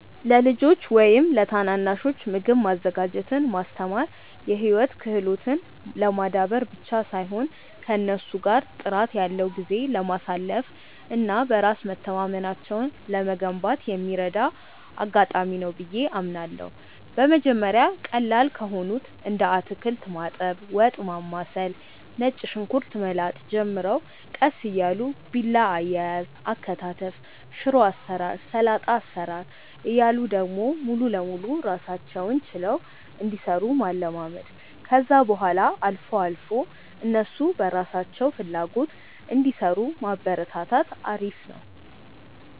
ለልጆች ወይም ለታናናሾች ምግብ ማዘጋጀትን ማስተማር የህይወት ክህሎትን ለማዳበር ብቻ ሳይሆን ከእነሱ ጋር ጥራት ያለው ጊዜ ለማሳለፍ እና በራስ መተማመናቸውን ለመገንባት የሚረዳ አጋጣሚ ነው ብዬ አምናለሁ። በመጀመሪያ ቀላል ከሆኑት እንደ አታክልት ማጠብ፣ ወጥ ማማሰል፣ ነጭ ሽንኩርት መላጥ ጀምረው ቀስ እያሉ ቢላ አያያዝ፣ አከታተፍ፣ ሽሮ አሰራር፣ ሰላጣ አሰራር እያሉ ደግሞ ሙሉ ለሙሉ ራሳቸውን ችለው እንዲሰሩ ማለማመድ፣ ከዛ በኋላ አልፎ አልፎ እነሱ በራሳቸው ፍላጎት እንዲሰሩ ማበረታታት አሪፍ ነው።